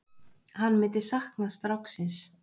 Hann myndi sakna stráksins.